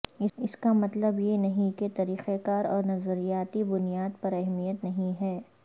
اس کا مطلب یہ نہیں کہ طریقہ کار اور نظریاتی بنیاد پر اہمیت نہیں ہے